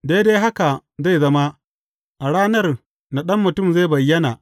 Daidai haka zai zama, a ranar da Ɗan Mutum zai bayyana.